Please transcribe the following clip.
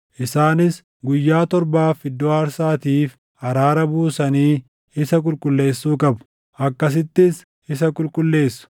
Isaanis guyyaa torbaaf iddoo aarsaatiif araara buusanii isa qulqulleessuu qabu; akkasittis isa qulqulleessu.